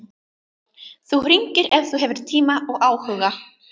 Þú hringir ef þú hefur tíma og áhuga.